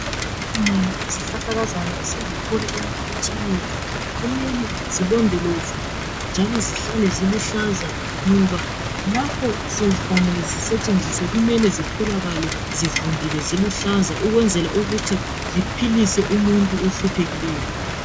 Izihlahlakazana esizithola emphakathini wethu kumele zilondolozwe njalo zihlale ziluhlaza ngoba lapho sezifanele zisetshenziswe kumele zitholakale zivundile ziluhlaza ukwenzela ukuthi ziphilise umuntu ohluphekileyo.